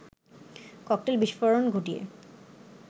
cocktail বিস্ফোরণ ঘটিয়ে